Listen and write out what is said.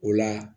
O la